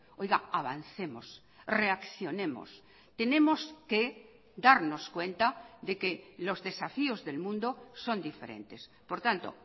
oiga avancemos reaccionemos tenemos que darnos cuenta de que los desafíos del mundo son diferentes por tanto